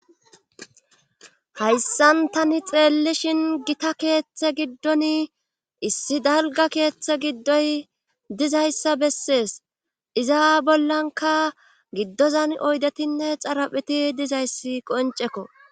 Hayssan tani xeellishin gita keeththe giddon issi dalgga keeththe giddoy dizayssa bessees iza bollankka giddozan oydetinne xaraphpheti dizayssi qoncekko